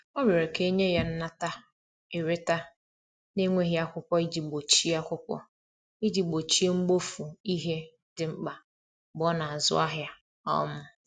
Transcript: ọ riorọ ka enye ya nnata/ereta na nweghi akwụkwo iji gbochie akwụkwo iji gbochie mgbofu ihe ndi mkpa mgbe ọ na azụ ahia um